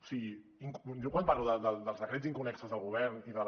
o sigui jo quan parlo dels decrets inconnexos del govern i de la